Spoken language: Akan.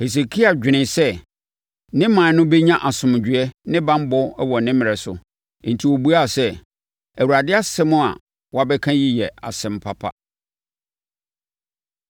Hesekia dwenee sɛ ne ɔman no bɛnya asomdwoeɛ ne banbɔ wɔ ne mmerɛ so, enti ɔbuaa sɛ, “ Awurade asɛm a woabɛka yi yɛ asɛm papa.”